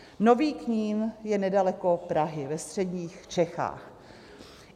Nový Knín je nedaleko Prahy ve středních Čechách.